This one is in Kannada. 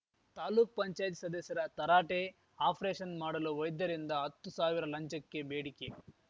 ತಾಲುಕ್ ಪಂಚಾಯ್ತ್ ಸದಸ್ಯರ ತರಾಟೆ ಆಪರೇಷನ್‌ ಮಾಡಲು ವೈದ್ಯರಿಂದ ಅತ್ತು ಸಾವಿರ ಲಂಚಕ್ಕೆ ಬೇಡಿಕೆ